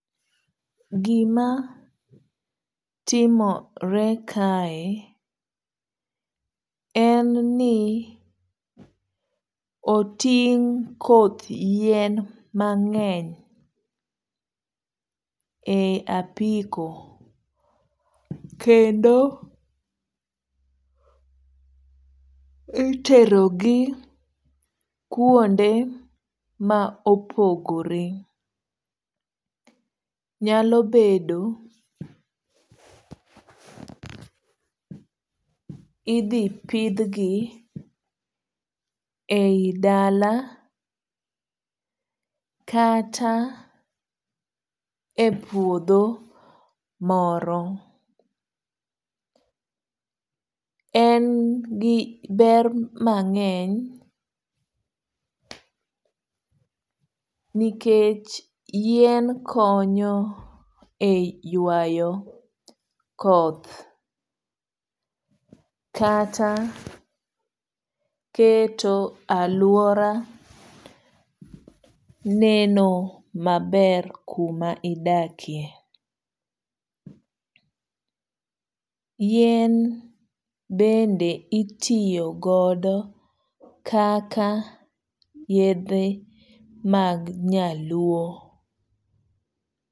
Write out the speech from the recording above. Gima timore kae en ni oting' koth yien mang'eny, e apiko. Kendo iterogi kuonde ma opogore. Nyalo bedo idhi pidhgi ei dala kata e puodho moro. En gi ber mang'eny, nikech yien konyo e ywayo koth. Kata keto alwora neno maber kuma idakie. Yien bende itiyo godo kaka yedhe mag nyaluo.